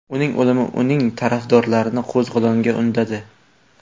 Uning o‘limi uning tarafdorlarini qo‘zg‘olonga undadi.